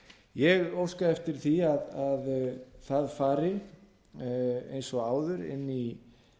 ég óska eftir því að það fari eins og áður inn í